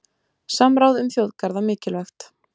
Samráð um þjóðgarða mikilvægt